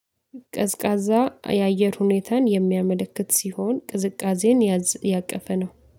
ቀዝቃዛ የአየር ሁኔታን የሚያመለክት ሲሆን ቅዝቃዜን ያቀፈ ነው